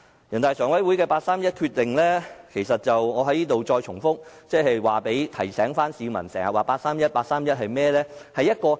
人大常委會的八三一決定——我在此要重複提醒市民，經常提及的八三一決定是甚麼？